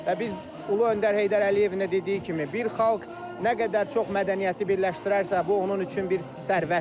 Və biz Ümummilli lider Heydər Əliyevin də dediyi kimi, bir xalq nə qədər çox mədəniyyəti birləşdirərsə, bu onun üçün bir sərvətdir.